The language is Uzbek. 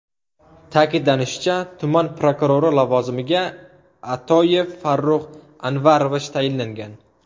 Ta’kidlanishicha, tuman prokurori lavozimiga Atoyev Farruh Anvarovich tayinlangan.